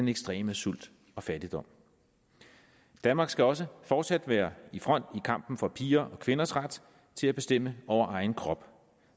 ekstrem sult og fattigdom danmark skal også fortsat være i front i kampen for piger og kvinders ret til at bestemme over egen krop